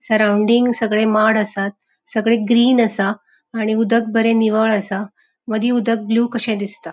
सराउन्डिंग सगळे माड असात सगळे ग्रीन असा आणि उदक बरे निवळ असा मदी उदक ब्लू कशे दिसता.